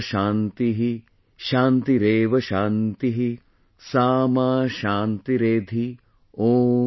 WamShantih ShantiReva Shantih Sa Ma ShantiRedhi॥